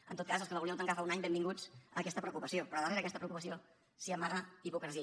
en tot cas els que la volíeu tancar fa un any benvinguts a aquesta preocupació però darrere d’aquesta preocupació s’hi amaga hipocresia